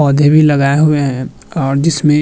पौधें भी लगाए हुए हैं और जिसमें --